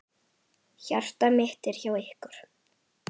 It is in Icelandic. Hjarta mitt er hjá ykkur.